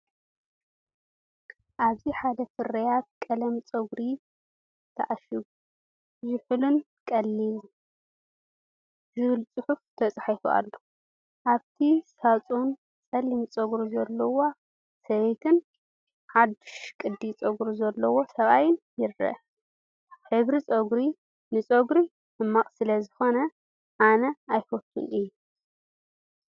ኣብዚ ሓደ ፍርያት ቀለም ጸጉሪ ተዓሺጉ “ዝሑልን ቀሊልን” ዝብል ጽሑፍ ተጻሒፉ ኣሎ። ኣብቲ ሳጹን ጸሊም ጸጉሪ ዘለዋ ሰበይትን ሓድሽ ቅዲ ጸጉሪ ዘለዎ ሰብኣይን ይርአ። ሕብሪ ፀጉሪ ንፀጉሪ ሕማቅ ስለ ሰኮነ ኣነ እየፈትወን እየ።